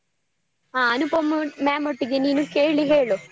ಹ ಅನುಪಮಾ ma'am ಒಟ್ಟಿಗೆ ನೀನು ಕೇಳಿ ಹೇಳು.